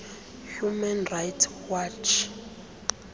human rights watch